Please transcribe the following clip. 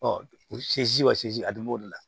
wa segi a dun b'o de la